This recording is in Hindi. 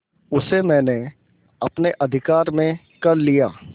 उसे मैंने अपने अधिकार में कर लिया